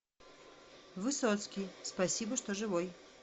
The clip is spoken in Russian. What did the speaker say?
высоцкий спасибо что живой